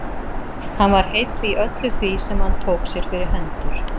Hann var heill í öllu því sem hann tók sér fyrir hendur.